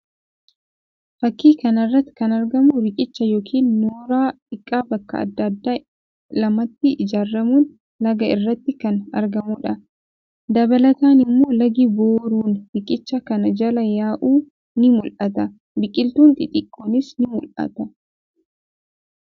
Fakkii kana irratti kan argamu riqicha yookiin nooraa xiqqaa bakka addaa addaa lamatti ijaaramuun laga irratti kan argamudha. Dabalataan immoo lagi booruun riqicha kana jala yaa'u ni mullata. Biqiltuun xixiqqoonis ni mullata.